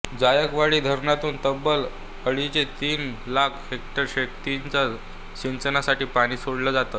जायकवाडी धरणातून तब्बल अडीच ते तीन लाख हेक्टर शेतीच्या सिंचनासाठी पाणी सोडलं जातं